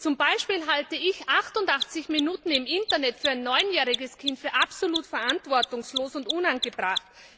Zum Beispiel halte ich 88 Minuten im Internet für ein neunjähriges Kind für absolut verantwortungslos und unangebracht.